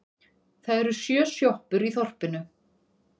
Það eru sjö sjoppur í þorpinu!